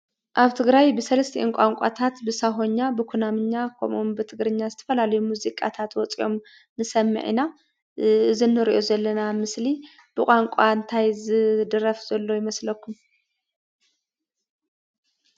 ኣብ ትግራይ ብሰለስቲአን ቋንቋታት ብሳሆኛ፣ ብኩናምኛ ከምኡውን ብትግርኛ ዝተፈላለዩ ሙዚቃታት ወፂኦም ንሰምዕ ኢና፡፡ እዚ እንሪኦ ዘለና ምስሊ ብቋንቋ እንታይ ዝድረፍ ዘሎ ይመስለኩም?